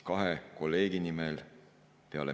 Head kolleegid!